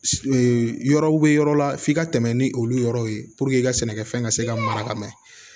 yɔrɔw bɛ yɔrɔ la f'i ka tɛmɛ ni olu yɔrɔw ye i ka sɛnɛkɛfɛn ka se ka mara ka mɛn